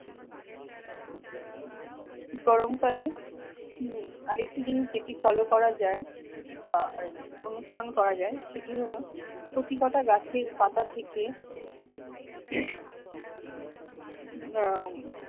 গরমকালে উম আরেকটি জিনিস যেটি follow করা যায় বা এই অনুসরণ করা যায় সেটি হলো প্রতিকতা গাছের পাতা থেকে উম আহ উম